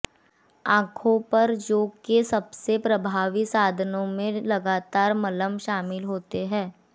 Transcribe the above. आंखों पर जौ के सबसे प्रभावी साधनों में लगातार मलम शामिल होते हैं